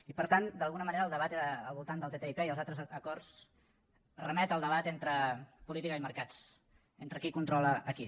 i per tant d’alguna manera el debat al voltant del ttip i els altres acords remet al debat entre política i mercats entre qui controla a qui